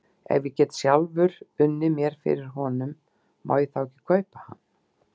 Ef ég get sjálfur unnið mér fyrir honum, má ég þá kaupa hann?